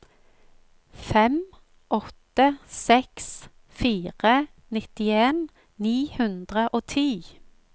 fem åtte seks fire nittien ni hundre og ti